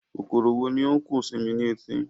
Kòkòrò wo ni ó ń kùn sí mi ní etí?